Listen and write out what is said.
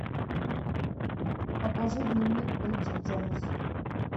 покажи дневник бриджит джонс